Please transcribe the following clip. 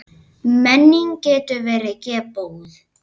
Menning getur verið geðbót.